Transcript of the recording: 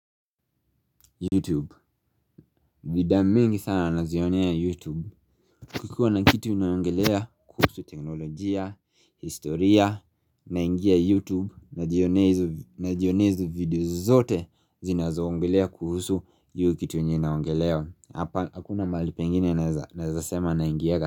Youtube. Vida mingi sana nazionea Youtube Kikuwa na kitu inaongelea kuhusu teknolojia, historia, naingia Youtube najionea hizo Najionea hizo videos zote zinazoongelea kuhusu hiyo kitu yenye inaongelea. Hakuna mahali pengine naeza sema naingiaga.